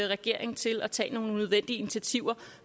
regeringen til at tage nogle nødvendige initiativer